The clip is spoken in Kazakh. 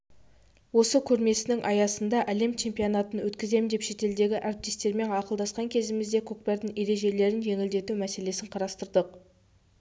осы көрмесінің аясында әлем чемпионатын өткіземіз деп шетелдегі әріптестермен ақылдасқан кезімізде көкпардың ережелерін жеңілдету мәселесін қарастырдық